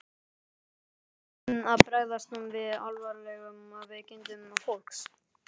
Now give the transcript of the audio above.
En hvernig ætti að bregðast við alvarlegum veikindum fólks?